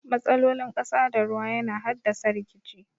Matsalolin ƙasa da ruwa yana haddasa rikici.